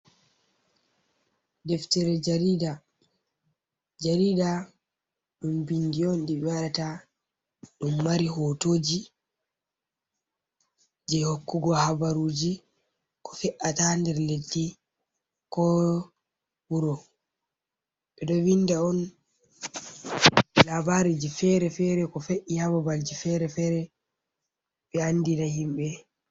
Deftere jariida, jarida ɗum bindi on ɗi ɓe waɗata ɗum mari hootoji, je hokkugo habaruji ko fe’ata nder leddi ko wuro. Ɓe ɗo vinda on labareji fere-fere ko fe’’i ha babalji fere-fere ɓe andina himɓe.